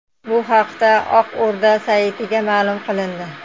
Bu haqda Oq o‘rda saytida ma’lum qilindi .